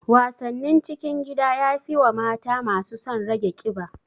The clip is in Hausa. Wasannin cikin gida yafi wa mata masu son rage ƙiba